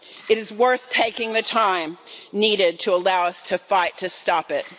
It is worth taking the time needed to allow us to fight to stop it.